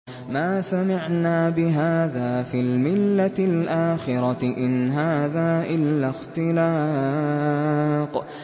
مَا سَمِعْنَا بِهَٰذَا فِي الْمِلَّةِ الْآخِرَةِ إِنْ هَٰذَا إِلَّا اخْتِلَاقٌ